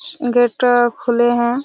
Gate खुले है।